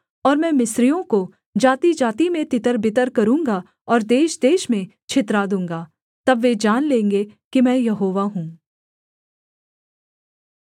और मैं मिस्रियों को जातिजाति में तितरबितर करूँगा और देशदेश में छितरा दूँगा तब वे जान लेंगे कि मैं यहोवा हूँ